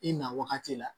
I na wagati la